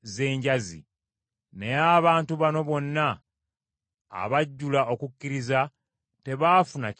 Naye abantu bano bonna abajjula okukkiriza tebaafuna kyasuubizibwa.